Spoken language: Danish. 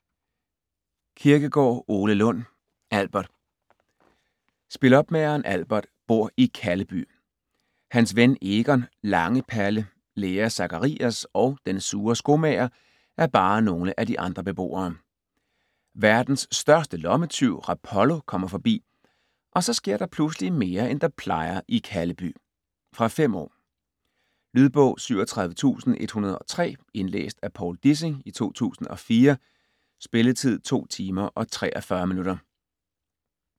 Kirkegaard, Ole Lund: Albert Spilopmageren Albert bor i Kalleby. Hans ven Egon, lange Palle, lærer Sakarias og den sure skomager er bare nogle af de andre beboere. Verdens største lommetyv Rapollo kommer forbi, og så sker der pludseligt mere end der plejer i Kalleby. Fra 5 år. Lydbog 37103 Indlæst af Povl Dissing, 2004. Spilletid: 2 timer, 43 minutter.